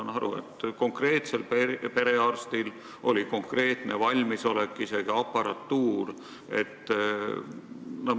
Ma saan aru, et konkreetsel perearstil oli olemas valmisolek, isegi aparatuur.